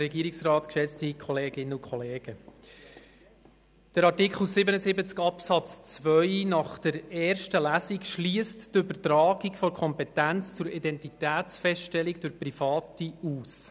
Das Ergebnis von Artikel 77 Absatz 2 aus der ersten Lesung schliesst die Übertragung der Kompetenz zur Identitätsfeststellung durch Private aus.